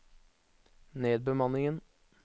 nedbemanningen